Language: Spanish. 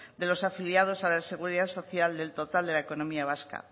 de los afiliados a la seguridad social del total de la economía vasca